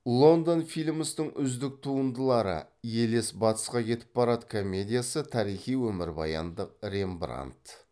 лондон филмстің үздік туындылары елес батысқа кетіп барады комедиясы тарихи өмірбаяндық рембрандт